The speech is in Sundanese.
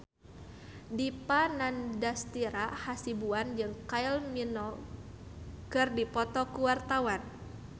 Dipa Nandastyra Hasibuan jeung Kylie Minogue keur dipoto ku wartawan